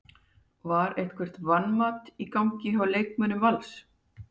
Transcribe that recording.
Var eitthvert vanmat í gangi hjá leikmönnum Vals?